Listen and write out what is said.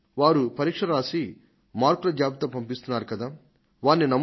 పరీక్ష రాసి మార్కుల జాబితాను సమర్పిస్తున్న వ్యక్తిని మనం నమ్మాలి